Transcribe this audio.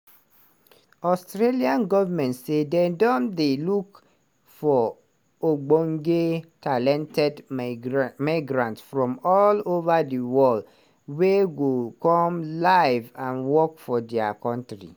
australian government say don dey look for ogbonge talented migrant migrants from all ova di world wey go come live and work for dia kontri.